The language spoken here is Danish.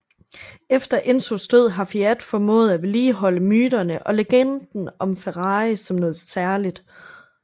Efter Enzos død har Fiat formået at vedligeholde myterne og legenden om Ferrari som noget særligt